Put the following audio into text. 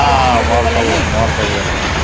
ହଁ ମୋର ସବୁବଳେ bank କାମ